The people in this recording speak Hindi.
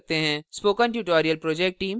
spoken tutorial project team